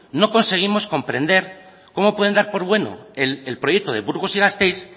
no conseguimos comprender cómo pueden dar por bueno el proyecto de burgos y gasteiz